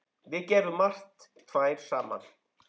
Við gerðum margt tvær saman.